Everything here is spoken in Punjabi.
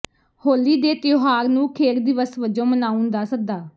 ਹੋਲੀ ਦੇ ਤਿਉਹਾਰ ਨੂੰ ਖੇਡ ਦਿਵਸ ਵਜੋਂ ਮਨਾਉਣ ਦਾ ਸੱਦਾ